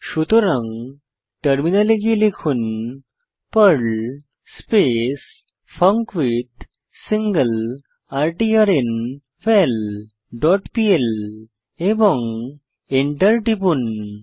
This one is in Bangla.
সুতরাং টার্মিনালে গিয়ে লিখুন পার্ল স্পেস ফাঙ্কুইথসিংলারট্র্নভাল ডট পিএল এবং এন্টার টিপুন